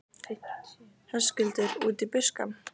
Höskuldur: Út í buskann?